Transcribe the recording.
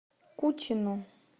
кучину